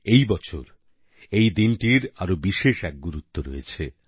এবছর এই দিনটির আরও বিশেষ এক গুরুত্ব রয়েছে